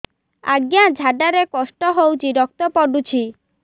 ଅଜ୍ଞା ଝାଡା ରେ କଷ୍ଟ ହଉଚି ରକ୍ତ ପଡୁଛି